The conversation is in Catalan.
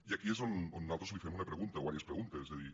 i aquí és on nosaltres li fem una pregunta o diverses preguntes de dir